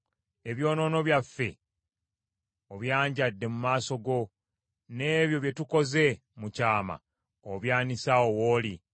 Ebyonoono byaffe obyanjadde mu maaso go, n’ebyo bye tukoze mu kyama obyanise awo w’oli.